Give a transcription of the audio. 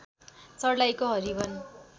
सर्लाहीको everyone